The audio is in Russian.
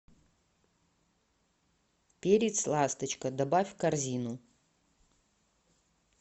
перец ласточка добавь в корзину